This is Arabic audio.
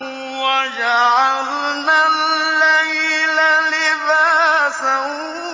وَجَعَلْنَا اللَّيْلَ لِبَاسًا